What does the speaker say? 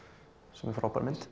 sem er frábær mynd